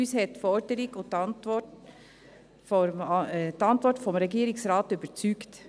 Uns haben die Forderung und die Antwort des Regierungsrates überzeugt.